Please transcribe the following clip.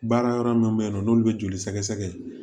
Baara yɔrɔ min bɛ yen nɔ n'olu bɛ joli sɛgɛsɛgɛ